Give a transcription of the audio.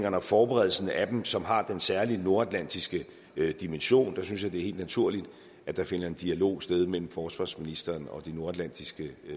og forberedelsen af dem som har den særlige nordatlantiske dimension synes jeg helt naturligt at der finder en dialog sted mellem forsvarsministeren og de nordatlantiske